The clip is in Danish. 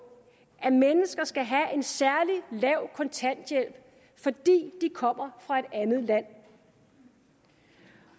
at mennesker skal have en særlig lav kontanthjælp fordi de kommer fra et andet land